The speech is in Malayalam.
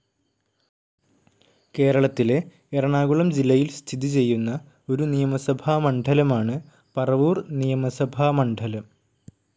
കേരളത്തിലെ എറണാകുളം ജില്ലയിൽ സ്ഥിതിചെയ്യുന്ന ഒരു നിയമസഭാമണ്ഡലമാണ് പറവൂർ നിയമസഭാമണ്ഡലം.